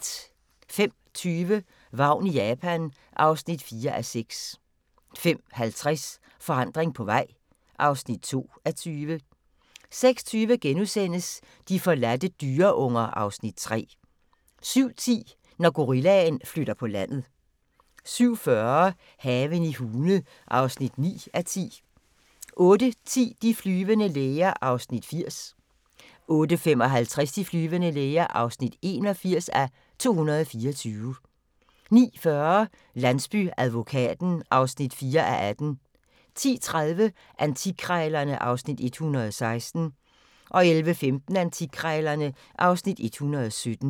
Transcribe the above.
05:20: Vagn i Japan (4:6) 05:50: Forandring på vej (2:20) 06:20: De forladte dyreunger (Afs. 3)* 07:10: Når gorillaen flytter på landet 07:40: Haven i Hune (9:10) 08:10: De flyvende læger (80:224) 08:55: De flyvende læger (81:224) 09:40: Landsbyadvokaten (4:18) 10:30: Antikkrejlerne (Afs. 116) 11:15: Antikkrejlerne (Afs. 117)